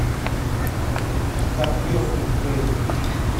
копье судьбы